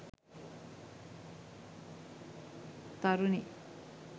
tharuni